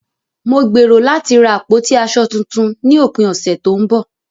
Mo gbèrò láti ra àpótí aṣọ tuntun ní òpin ọ̀sẹ̀ tó ń bọ̀.